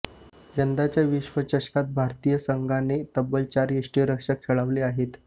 यंदाच्या विश्वचषकात भारतीय संघाने तब्बल चार यष्टिरक्षक खेळवले आहेत